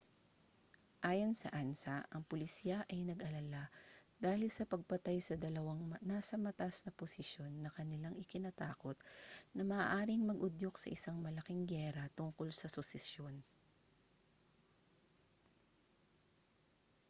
ayon sa ansa ang pulisya ay nag-alala dahil sa pagpatay sa dalawang nasa mataas na posisiyon na kanilang ikinatakot na maaaring mag-udyok sa isang malaking giyera tungkol sa susesyon